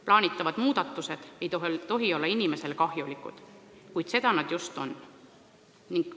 Plaanitavad muudatused ei tohi olla inimesele kahjulikud, kuid seda nad just on.